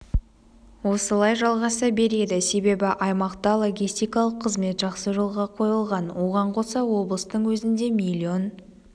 осылай жалғаса береді себебі аймақта логистикалық қызмет жақсы жолға қойылған оған қоса облыстың өзінде миллион